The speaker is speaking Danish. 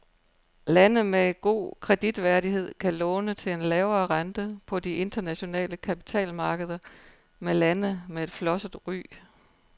Lande med god kreditværdighed kan låne til en lavere rente på de internationale kapitalmarkeder end lande med flosset ry.